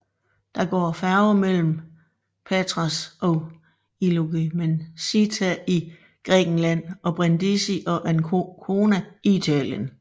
Der går færge mellem Patras og Igoumenitsa i Grækenland og Brindisi og Ancona i Italien